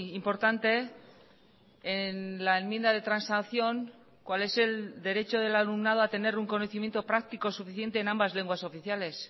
importante en la enmienda de transacción cuál es el derecho del alumnado a tener un conocimiento práctico suficiente en ambas lenguas oficiales